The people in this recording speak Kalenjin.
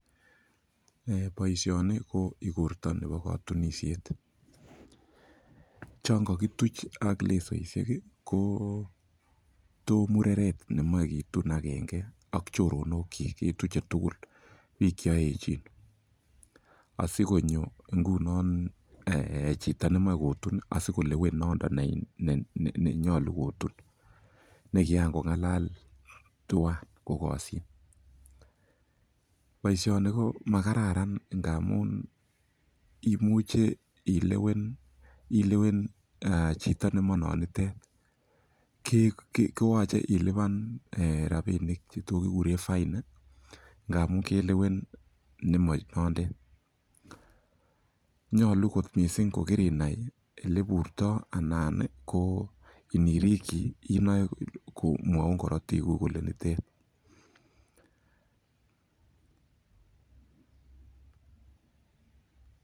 Boishoni ko igorta nebo katunishet. Chon kakituch ak lesoishek ko to mureret nemochei kitun agenge ak chorondokchi ketuchei tukul. Piik cheoechin. Asikonyo nguno chito nemochei kotun, asikolewen nondo nenyolu kotun, nekiangong'alal tuwai kokoshin. Boishoni ko makararan ndamun imuche ilewen chito nemanonitet koyachei ilipan rabinik cheto kiguren fine, ngamun kelewen nemanondet. Nyolu kot mising kokirinai oleburtoi anan ko nirikchi inoe komwaun korotiguk kole nonitet.